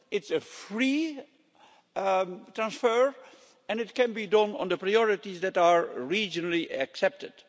It's a free transfer, and it can be done on the priorities that are regionally accepted.